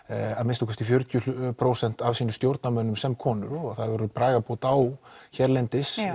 að minnsta kosti fjörutíu prósent af sínum stjórnarmönnum sem konur og það hefur orðið bragarbót á hérlendis